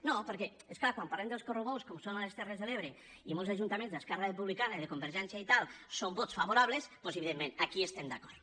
no perquè és clar quan parlem dels correbous com que són a les terres de l’ebre i en molts ajuntaments d’esquerra republicana i de convergència i tal són vots favorables doncs evidentment aquí hi estem d’acord